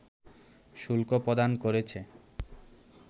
শুল্ক প্রদান করেছে